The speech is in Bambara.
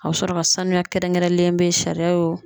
A bɛ sɔrɔ ka sanuya kɛrɛnkɛrɛnlen bɛ sariya ye o